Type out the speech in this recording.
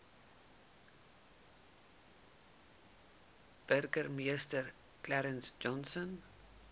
burgemeester clarence johnson